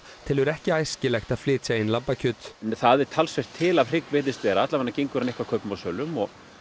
telur ekki æskilegt að flytja inn lambakjöt það er talsvert til af hrygg virðist vera alla vega gengur hann eitthvað kaupum og sölum